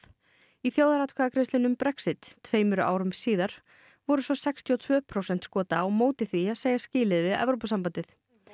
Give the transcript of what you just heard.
í þjóðaratkvæðagreiðslunni um Brexit tveimur árum síðar voru svo sextíu og tvö prósent Skota á móti því að segja skilið við Evrópusambandið